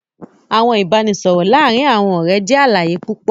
Awọn ibaraẹnisọrọ laarin awọn ọrẹ jẹ alaye pupọ